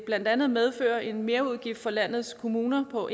blandt andet medføre en merudgift for landets kommuner på